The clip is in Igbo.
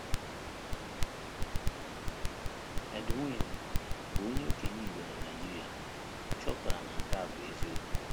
Edwin, bụ́ onye okenye Igbo na Nigeria, chọpụtara na nke a bụ eziokwu.